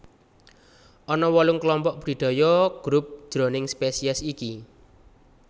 Ana wolung klompok budidaya Group jroning spesies iki